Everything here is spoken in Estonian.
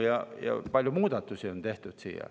Siia on palju muudatusi tehtud.